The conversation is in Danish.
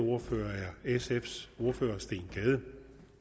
ordfører er sfs ordfører steen gade